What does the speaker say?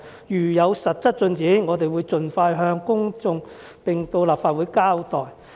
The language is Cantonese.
如有實質進展，我們會盡快向公眾並到立法會交代"。